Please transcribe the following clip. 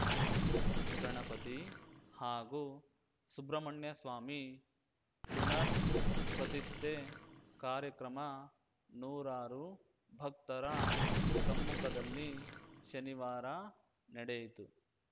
ಗಣಪತಿ ಹಾಗೂ ಸುಬ್ರಮಣ್ಯಸ್ವಾಮಿ ಪುನರ್‌ ಪ್ರತಿಷ್ಠೆ ಕಾರ್ಯಕ್ರಮ ನೂರಾರು ಭಕ್ತರ ಸಮ್ಮುಖದಲ್ಲಿ ಶನಿವಾರ ನಡೆಯಿತು